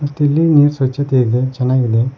ಮತ್ತು ಇಲ್ ನೀರ್ ಸ್ವಚತೆ ಇದೆ ಚೆನ್ನಾಗ್ ಇದೆ.